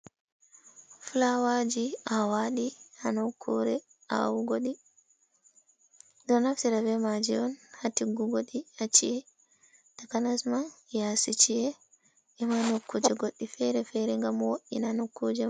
Fulawaji awaɗi hanokure awugoɗi. Ɗo naftira be maji un ha tiggugodi ha chi’e. Takanasma yasi chi’e ema nokkuje goɗɗi fere-fere ngam woddina nokkuje man.